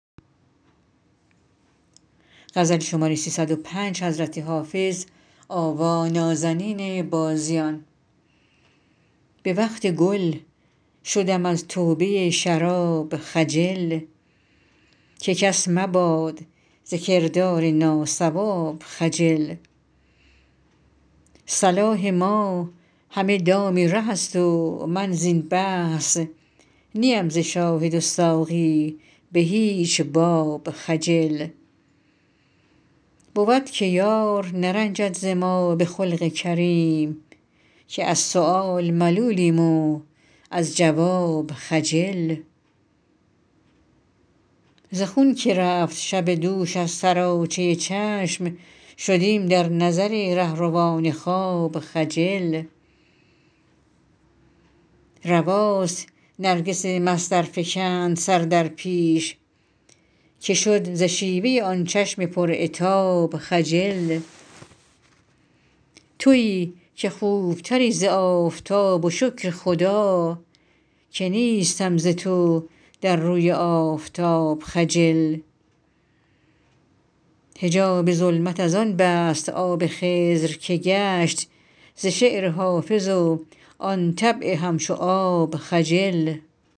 به وقت گل شدم از توبه شراب خجل که کس مباد ز کردار ناصواب خجل صلاح ما همه دام ره است و من زین بحث نی ام ز شاهد و ساقی به هیچ باب خجل بود که یار نرنجد ز ما به خلق کریم که از سؤال ملولیم و از جواب خجل ز خون که رفت شب دوش از سراچه چشم شدیم در نظر رهروان خواب خجل رواست نرگس مست ار فکند سر در پیش که شد ز شیوه آن چشم پر عتاب خجل تویی که خوب تری ز آفتاب و شکر خدا که نیستم ز تو در روی آفتاب خجل حجاب ظلمت از آن بست آب خضر که گشت ز شعر حافظ و آن طبع همچو آب خجل